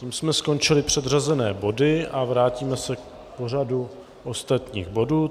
Tím jsme skončili předřazené body a vrátíme se k pořadu ostatních bodů.